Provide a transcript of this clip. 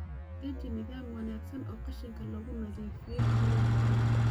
Deji nidaam wanaagsan oo qashinka lagu nadiifiyo xiradhaa digaagu.